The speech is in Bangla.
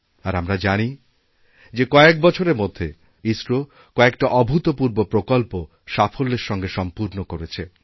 আর আমরা জানি যে কয়েক বছরের মধ্যে ইসরো কয়েকটা অভূতপূর্বপ্রকল্প সাফল্যের সঙ্গে সম্পূর্ণ করেছে